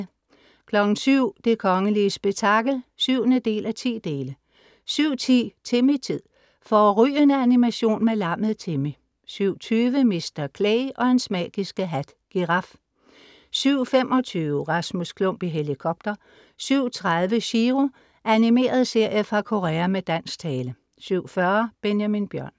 07:00 Det kongelige spektakel (7:10) 07:10 Timmy-tid. Fårrygende animation med lammet Timmy 07:20 Mr.Clay og hans magiske hat. Giraf 07:25 Rasmus Klump i helikopter 07:30 Chiro.Animeret serie fra Korea med dansk tale 07:40 Benjamin Bjørn